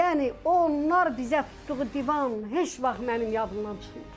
Yəni onlar bizə tutduğu divan heç vaxt mənim yadımdan çıxmır.